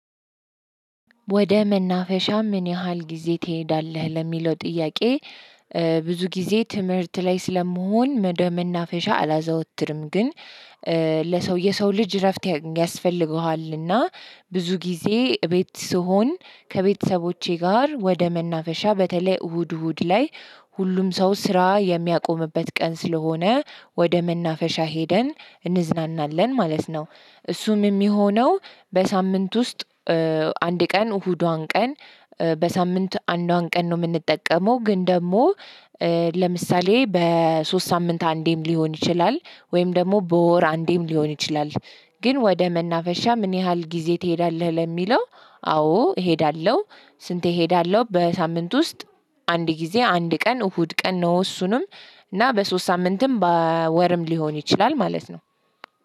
ወደ መናፈሻ ምን ያህል ጊዜ ትሄዳለህ ለሚለው ጥያቄ? ብዙ ጊዜ ትምህርት ላይ ስለመሆን ወደ መናፈሻ አላዘወትርም። ግን ለሰው የሰው ልጅ እረፍት ያስፈልገዋልና ብዙ ጊዜ ቤት ስሆን ከቤተሰቦቼ ጋር ወደ መናፈሻ በተለይ እሁድ እሁድ ላይ ሁሉም ሰው ስራ የሚያቆምበት ቀን ስለሆነ ወደ መናፈሻ ሄደን እንዝናናለን ማለት ነው። እሱም የሚሆነው በሳምንት ውስጥ አንድ ቀን እሁዷን ቀን። በሳምንት አንዷን ቀን ነው የምንጠቀመው። ግን ደግሞ ለምሳሌ በሶስት ሳምንት አንዴም ሊሆን ይችላል ወይም ደግሞ በወር አንዴም ሊሆን ይችላል። ግን ወደ መናፈሻ ምን ያህል ጊዜ ትሄዳለህ ለሚለው? አዎ እሄዳለሁ። ስንት እሄዳለሁ በሳምንት ውስጥ? አንድ ጊዜ አንድ ቀን እሁድ ቀን ነው እሱንም እና በሶስት ሳምንትም በወርም ሊሆን ይችላል ማለት ነው።